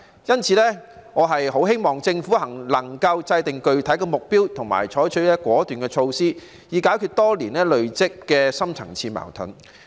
因此，我很希望政府能夠制訂具體的目標，以及採取果斷的措施，以解決多年累積的深層次矛盾。